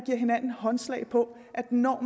hinanden håndslag på at når